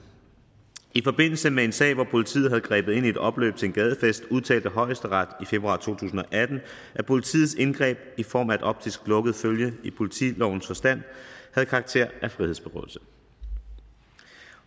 i forbindelse med en sag hvor politiet havde grebet ind i et opløb ved en gadefest udtalte højesteret i februar to tusind og atten at politiets indgreb i form af et optisk lukket følge i politilovens forstand havde karakter af frihedsberøvelse